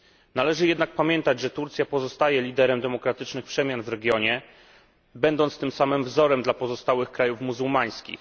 Należy jednak pamiętać, że Turcja pozostaje liderem demokratycznych przemian w regionie, będąc tym samym wzorem dla pozostałych krajów muzułmańskich.